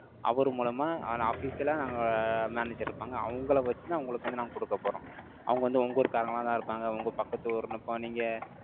அவரு மூலமா, ஆன official ஆ நாங்க manager இருப்பாங்க. அவங்களை வச்சுதான், உங்களுக்கு வந்து நாங்க கொடுக்க போறோம் அவங்க வந்து, உங்க ஊர்க்காரங்களாதான் இருப்பாங்க. உங்க பக்கத்து ஊர்ன்னு இப்போ நீங்க